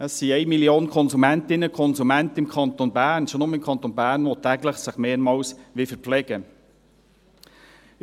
Es gibt im Kanton Bern eine Million Konsumentinnen und Konsumenten – schon nur im Kanton Bern –, die sich täglich mehrmals verpflegen wollen.